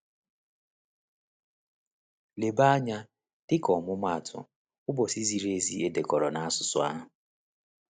Leba anya, dịka ọmụmaatụ, ụbọchị ziri ezi e dekọrọ n’asụsụ ahụ.